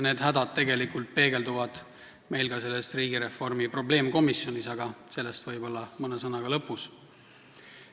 Need hädad peegelduvad ka selles riigireformi probleemkomisjonis, aga sellest võib-olla mõne sõnaga kõne lõpus.